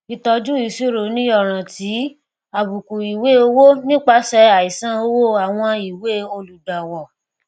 ìtọjú ìṣirò ní ọràn ti àbùkù ìwée owó nípasẹ àìsàn wó àwọn ìwée olùgbàwọ